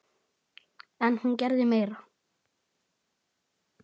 En hún gerði meira.